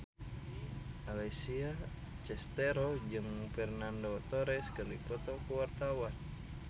Alessia Cestaro jeung Fernando Torres keur dipoto ku wartawan